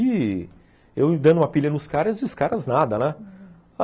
E eu dando uma pilha nos caras e os caras nada, né?